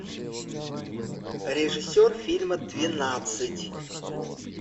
режиссер фильма двенадцать